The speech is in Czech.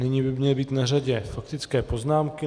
Nyní by měly být na řadě faktické poznámky.